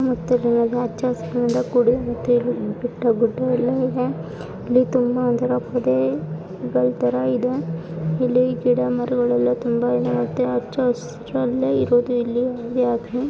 ನೋಡತಿರುವುದು ಹಚ್ಚಹಸಿರಿನಿಂದ ಕೂಡಿದೆ ಅಂತ ಬೆಟ್ಟಗುಡ್ಡಗಳಿವೆ ಇಲ್ಲಿ ತುಂಬ ತರ ಇಲ್ಲಿ ಗಿಡಮರಗಳು ತುಂಬಾ ಇವೆ. ಹಚ್ಚಹಸಿರಿನಲ್ಲಿ ಇರೋದೇ